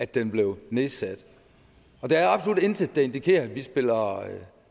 den blev nedsat der er absolut intet der indikerer at vi spiller